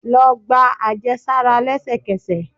Lọ gba ajesara lẹsẹkẹsẹ!